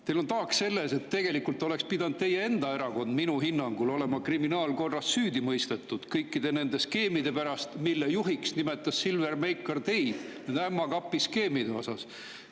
Teil on taak, sest tegelikult oleks pidanud teie enda erakond – minu hinnangul – olema kriminaalkorras süüdi mõistetud kõikide nende skeemide pärast, mille juhiks nimetas Silver Meikar teid, nende ämma kapi skeemide pärast.